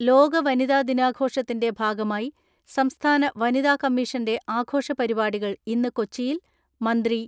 ലോക വനിതാ ദിനാഘോഷത്തിന്റെ ഭാഗമായി സംസ്ഥാന വനിതാ കമ്മീഷന്റെ ആഘോഷ പരിപാടികൾ ഇന്ന് കൊച്ചിയിൽ മന്ത്രി